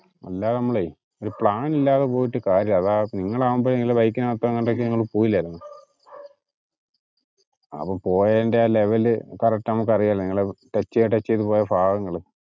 അല്ലാതെ നമ്മളെ, ഒരു പ്ലാൻ ഇല്ലാതെ പോയിട്ട് കാര്യമില്ല അതാ നിങ്ങളാകുമ്പോ അത് നിങ്ങള് ബൈക്ക് ഇന് അകത്തു എങ്ങാണ്ടൊക്കെ നിങ്ങൾ പോയില്ലാരുന്നോ? അപ്പോ പോയെൻറെ ആ level correct നമുക്ക് അറിയാല്ലോ നമുക്ക് നിങ്ങള് ടച്ച് ചെയ്തു ടച്ച് ചെയ്തു പോയ ഭാഗങ്ങള്